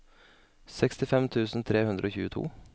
sekstifem tusen tre hundre og tjueto